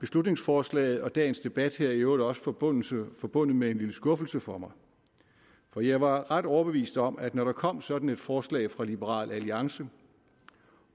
beslutningsforslaget og dagens debat her i øvrigt også forbundet forbundet med en lille skuffelse for mig for jeg var ret overbevist om at når der kom sådan et forslag fra liberal alliance